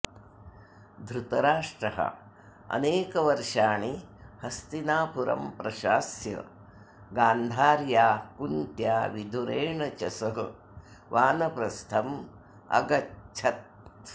धृतराष्ट्रः अनेकवर्षाणि हस्तिनापुरं प्रशास्य गान्धर्या कुन्त्या विदुरेण च सह वानप्रस्थम् अगच्छत्